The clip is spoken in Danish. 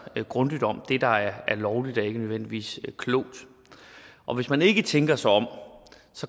grundigt om det der er lovligt er ikke nødvendigvis klogt og hvis man ikke tænker sig om